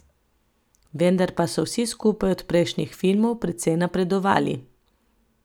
Vendar pa so vsi skupaj od prejšnjih filmov precej napredovali.